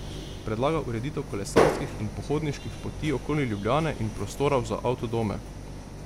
Predlaga ureditev kolesarskih in pohodniških poti okoli Ljubljane in prostorov za avtodome.